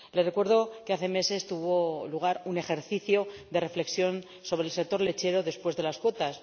Le recuerdo que hace meses tuvo lugar un ejercicio de reflexión sobre el sector lechero después de las cuotas.